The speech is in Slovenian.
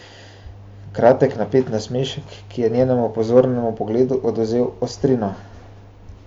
Kratek napet nasmešek, ki je njenemu pozornemu pogledu odvzel ostrino.